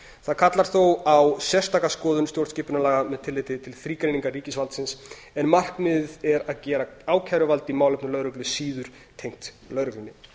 það kallar þó á sérstaka skoðun stjórnskipunarlaga með tilliti til þrígreiningar ríkisvaldsins en markmiðið er að gera ákæruvald í málefnum lögreglu síður tengt lögreglunni